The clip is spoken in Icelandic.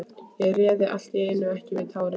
Ég réð allt í einu ekki við tárin.